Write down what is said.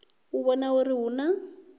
u vhona uri hu na